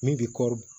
Min bi kɔɔri